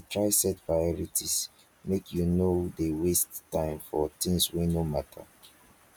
dey try set priorities make you no dey waste time for tins wey no mata